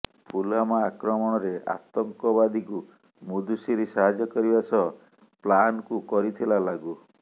ପୁଲଓ୍ବାମା ଆକ୍ରମଣରେ ଆତଙ୍କବାଦୀଙ୍କୁ ମୁଦସିର ସାହାଯ୍ୟ କରିବା ସହ ପ୍ଲାନକୁ କରିଥିଲା ଲାଗୁ